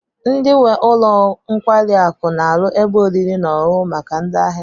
Ndi nwe ụlọ nkwari akụ n'aru ebe oriri n'oṅuṅụ maka ndi ahia ha